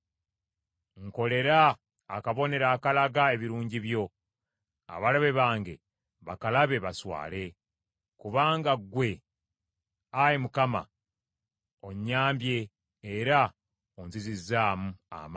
Nkolera akabonero akalaga ebirungi byo, abalabe bange bakalabe baswale; kubanga ggwe, Ayi Mukama , onnyambye era onzizizzaamu amaanyi.